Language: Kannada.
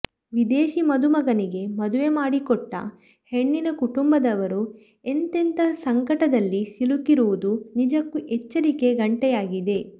ವಿದೇಶಿ ಮದುಮಗನಿಗೆ ಮದುವೆ ಮಾಡಿಕೊಟ್ಟ ಹೆಣ್ಣಿನ ಕುಟುಂಬದವರು ಎಂತೆಂಥ ಸಂಕಟದಲ್ಲಿ ಸಿಲುಕಿರುವುದು ನಿಜಕ್ಕೂ ಎಚ್ಚರಿಕೆಯ ಗಂಟೆಯಾಗಿದೆ